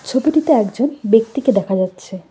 ছবিটিতে একজন ব্যক্তিকে দেখা যাচ্ছে।